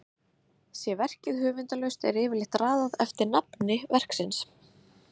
Sé verkið höfundarlaust er yfirleitt raðað eftir nafni verksins.